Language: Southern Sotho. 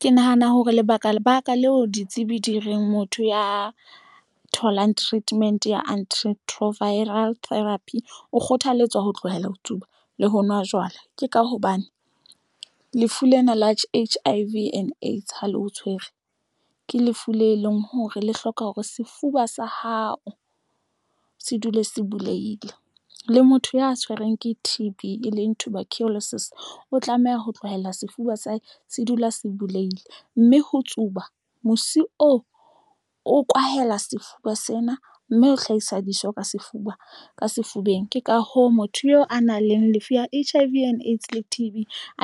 Ke nahana hore lebaka lebaka leo ditsebi di reng motho ya tholang treatment ya anti retroviral therapy o kgothalletswa ho tlohella ho tsuba le ho nwa jwala. Ke ka hobane lefu lena la H_I_V and AIDS Ha le ho tshwere ke lefu le leng hore le hloka hore sefuba sa hao se dule se buleile le motho ya tshwereng ke T_B e leng Tuberculosis, o tlameha ho tlwaela sefuba sa hae se dula se buleile mme ho tsuba musi oo o kwahela sefuba sena mme ho hlahisa dijo ka sefuba ka sefubeng. Ke ka hoo motho eo a nang le lefu la H_I_V and AIDS le T_B